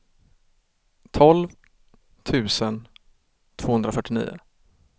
tolv tusen tvåhundrafyrtionio